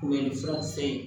Kunbɛlifura se ye